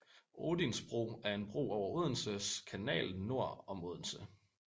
Odins Bro er en bro over Odense Kanal nord om Odense